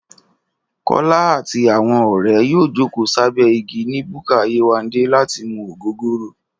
Kọ́lá àti àwọn ọ̀rẹ́ yóò jókòó sábẹ́ igi ni búkà Yéwándé láti mu ògógóró